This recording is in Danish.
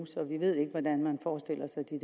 så vi ved ikke hvordan man forestiller sig de